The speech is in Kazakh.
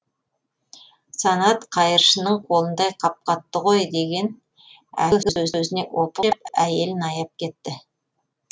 санат қайыршының қолындай қап қатты ғой деген әлгі сөзіне опық жеп әйелін аяп кетті